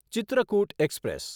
Chitrakoot express